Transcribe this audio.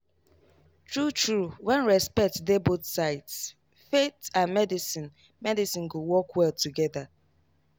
true true when respect dey both sides faith and medicine medicine go work well together.